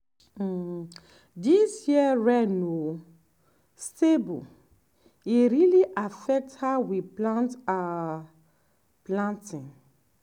um this year rain no stable e really affect how we plan our planting.